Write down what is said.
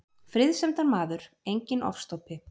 Friðsemdarmaður, enginn ofstopi.